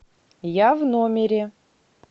я в номере